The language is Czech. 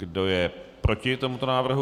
Kdo je proti tomuto návrhu?